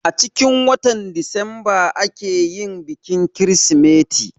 Acikin watan disamba ake yin bikin kirsimeti